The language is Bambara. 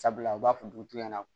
Sabula u b'a fɔ dugutigi ɲɛna